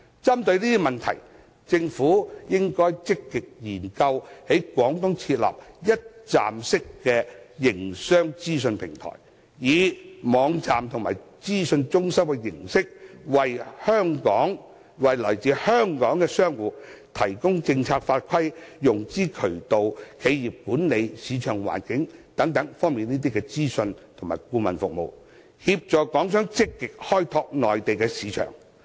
針對此問題，政府應積極研究在廣東設立一站式營商資訊平台，以網站和資訊中心的形式，為來自香港的商戶提供政策法規、融資渠道、企業管理和市場環境等方面的資訊及顧問服務，協助港商積極開拓內地市場。